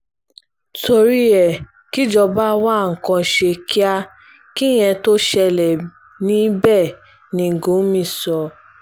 torí ẹ kíjọba wa nǹkan ṣe kíá kíyẹn tóo ṣẹlẹ̀ ní bẹ́ẹ̀ ni gúmì sọ